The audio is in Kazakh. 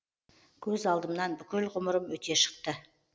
көз алдымнан бүкіл ғұмырым өте шықты